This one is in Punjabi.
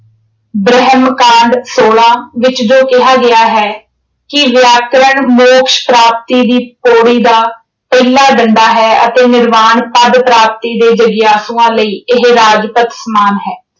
ਬ੍ਰਹਿਮ ਕਾਂਢ ਸੋਲਾਂ ਵਿੱਚ ਜੋ ਕਿਹਾ ਗਿਆ ਹੈ ਕਿ ਵਿਆਕਰਣ ਮੋਕਸ਼ ਪ੍ਰਾਪਤੀ ਦੀ ਪੌੜੀ ਦਾ ਪਹਿਲਾ ਡੰਡਾ ਹੈ ਅਤੇ ਨਿਰਮਾਣ ਪਦ ਪ੍ਰਾਪਤੀ ਦੇ ਜਗਿਆਸੂਆਂ ਲਈ ਇਹ ਰਾਜਪੱਥ ਸਮਾਨ ਹੈ।